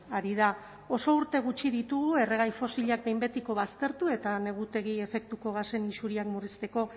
ari da oso urte gutxi ditugu erregai fosilak behin betiko baztertu eta negutegi efektuko gasen isuriak murrizteko